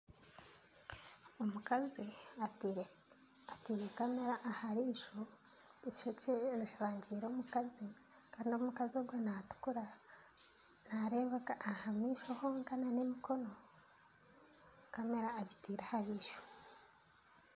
Omukazi ataire kamera aha riiso, eishokye rishangire omukazi kandi omukazi ogwo naatukura, naareebeka aha maisho honka nana emikono kamera agitaire aha riisho